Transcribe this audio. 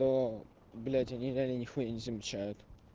то блять они меня ни хуя не замечают